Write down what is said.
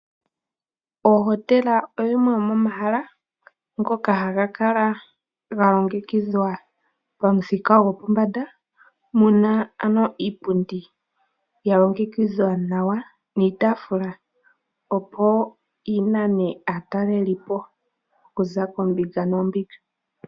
Ohotela oyimwe yomomahala ngoka haga kala ga longekidhwa pamuthika go pombanda muna ano iipundi ya longekidhwa nawa niitafula opo yi nane aatalelipo okuza koombinga noombinga.